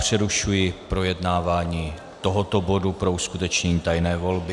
Přerušuji projednávání tohoto bodu pro uskutečnění tajné volby.